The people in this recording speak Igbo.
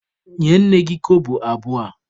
Nye nne gị kobo abụọ a!